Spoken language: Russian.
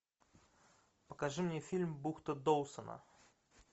покажи мне фильм бухта доусона